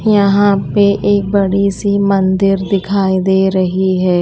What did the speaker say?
यहां पे एक बड़ी सी मन्दिर दिखाई दे रही है।